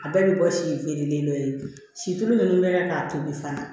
A bɛɛ bɛ bɔ si feerelen dɔ ye silu min bɛ k'a tobi fana